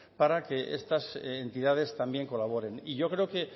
para que estas entidades también colaboren yo creo que